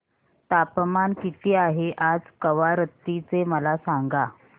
तापमान किती आहे आज कवारत्ती चे मला सांगा